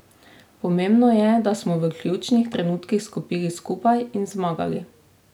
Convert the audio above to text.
Pomembno je, da smo v ključnih trenutkih stopili skupaj in zmagali.